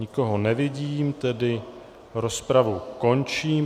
Nikoho nevidím, tedy rozpravu končím.